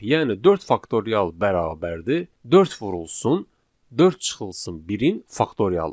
Yəni dörd faktorial bərabərdir dörd vurulsun dörd çıxılsın birin faktorialı.